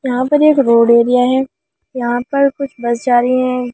यहां पर एक रोड एरिया है यहां पर कुछ बस जा रही है।